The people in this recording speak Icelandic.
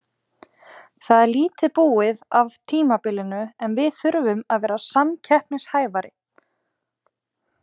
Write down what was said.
Það er lítið búið af tímabilinu en við þurfum að vera samkeppnishæfari.